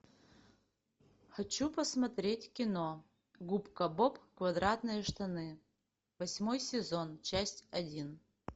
хочу посмотреть кино губка боб квадратные штаны восьмой сезон часть один